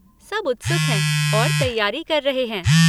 सब उत्सुक हैं और तैयारी कर रहे हैं।